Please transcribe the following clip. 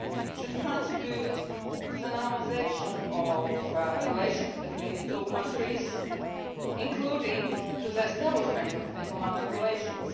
should contribute to the normalisation of relations between the two countries, including the establishment of diplomatic relations.